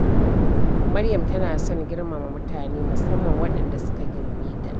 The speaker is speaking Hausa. Maryam tana son girmama mutane, musamman waɗanda suka girme ta.